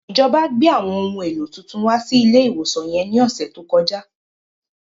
Ìjọba gbé àwọn ohun èlò tuntun wá sí ilé ìwòsan yẹn ní ọ̀sẹ̀ tó kọjá